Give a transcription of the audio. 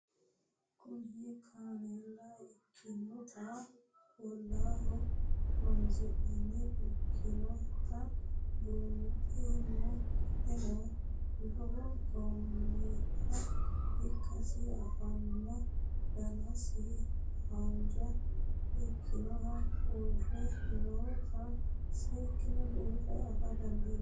Kuni kaneela ikinotana olaho horonsinaniha ikinota buunxemo qoleno lewu goomiha ikasi anfana danasiho hanja ikinotana uure nootano seekine buuxana afa dandinemo?